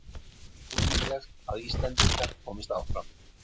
Ólíklegt að Íslendingar komist áfram